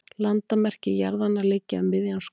landamerki jarðanna liggja um miðjan skóg